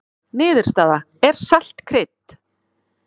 Niðurstaða: Er salt krydd?